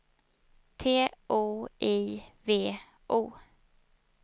T O I V O